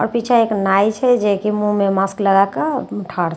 आओर पीछा एक नाई छै जेकि मुँह मे मास्क लगा के ठाढ़ छै।